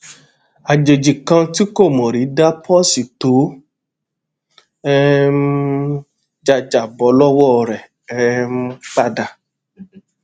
ajeji kan tí kò mò rí dá póòsì tó um já já bó lówó rè um pa dà